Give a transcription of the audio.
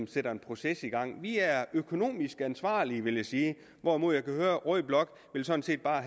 sætter en proces i gang vi er økonomisk ansvarlige vil jeg sige hvorimod jeg kan høre at rød blok sådan set bare